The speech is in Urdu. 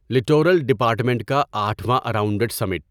لٹورل ڈیپارٹمنٹ کا اٹھواں اراونڈڈسمنٹ